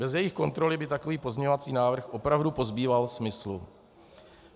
Bez jejich kontroly by takový pozměňovací návrh opravdu pozbýval smysl.